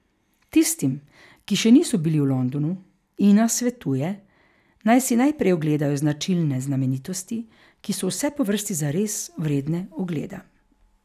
Tistim, ki še niso bili v Londonu, Ina svetuje, naj si najprej ogledajo značilne znamenitosti, ki so vse po vrsti zares vredne ogleda.